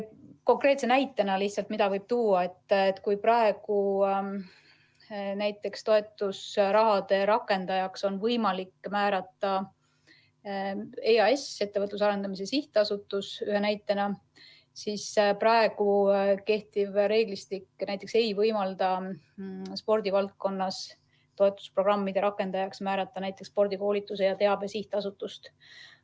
Konkreetse näitena võib tuua selle, et kui praegu on toetusrahade rakendajaks võimalik määrata EAS, Ettevõtluse Arendamise Sihtasutus, siis kehtiv reeglistik ei võimalda spordivaldkonnas toetusprogrammide rakendajaks määrata näiteks Spordikoolituse ja -Teabe Sihtasutust.